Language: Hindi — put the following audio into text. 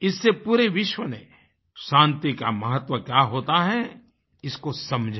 इससे पूरे विश्व ने शान्ति का महत्व क्या होता है इसको समझा